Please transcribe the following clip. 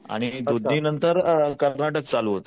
आणि दुधनी नंतर कर्नाटक चालू होत,